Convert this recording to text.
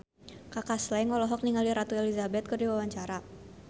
Kaka Slank olohok ningali Ratu Elizabeth keur diwawancara